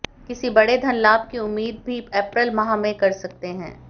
किसी बड़े धन लाभ की उम्मीद भी अप्रैल माह में कर सकते हैं